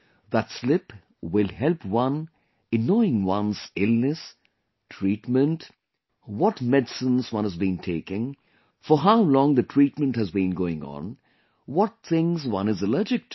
That slip will help one in knowing one's illness, treatment, what medicines one has been taking, for how long the treatment has been going on, what things one is allergic to